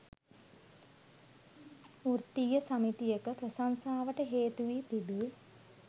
වෘත්තීය සමිතියක ප්‍රශංසාවට හේතු වී තිබේ.